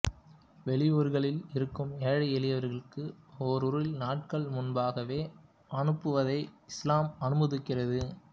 வெளியூர்களில் இருக்கும் ஏழை எளியவர்களுக்கு ஓரிரு நாட்கள் முன்பாகவே அனுப்புவதை இஸ்லாம் அனுமதிக்கிறது